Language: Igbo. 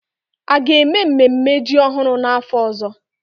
A ga-eme mmemme ji ọhụrụ n'afọ ọzọ?